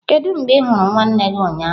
Kedu mgbe ị hụrụ nwanne gị ụnyaahụ?